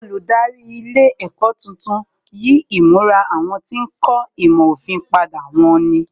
Olùdarí ilé ẹ̀kọ́ tuntun yí ìmura àwọn tí ń kọ́ ìmọ̀ òfin padà wón ní